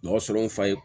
Mɔgɔ sɔrɔ n fa ye